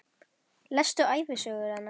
Lestu ævisögu hennar!